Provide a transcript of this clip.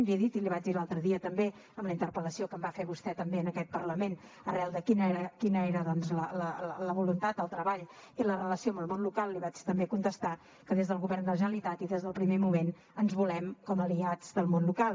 l’hi he dit i l’hi vaig dir l’altre dia també en la interpel·lació que em va fer vostè també en aquest parlament arran de quina era doncs la voluntat el treball i la relació amb el món local i li vaig també contestar que des del govern de la generalitat i des del primer moment ens volem com a aliats del món local